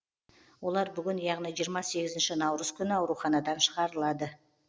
олар бүгін яғни жиырма сегізінші наурыз күні ауруханадан шығарылады